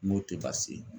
Moto tɛ baasi ye